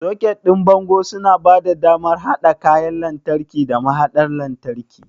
Soket ɗin bango suna ba da damar haɗa kayan lantarki da mahaɗar lantarki.